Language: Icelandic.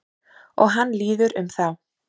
Og hann líður um þá.